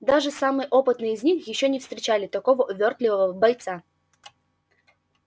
даже самые опытные из них ещё не встречали такого увёртливого бойца